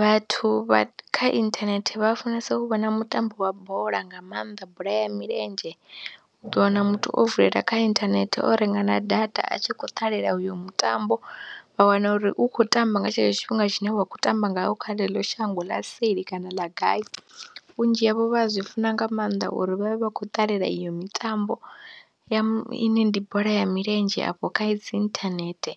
Vhathu vha kha inthanethe vha funesa u vhona mutambo wa bola nga maanḓa bola ya milenzhe, u ḓo wana muthu o vulela kha inthanethe o renga na data a tshi khou ṱalela uyo mutambo vha wana uri u khou tamba nga tshetsho tshifhinga tshine wa khou tamba ngawo kha ḽeḽo shango ḽa seli kana ḽa gai, vhunzhi havho vha zwi funa nga maanḓa uri vha vhe vha khou ṱalela iyo mitambo ya ine ndi bola ya milenzhe afho kha dzi inthanethe